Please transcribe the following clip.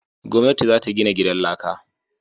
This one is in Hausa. Gwamnati za ta gina gidan laka